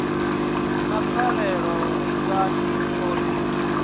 na pfarelo lingani o ri